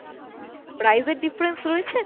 price এর difference রয়েছে?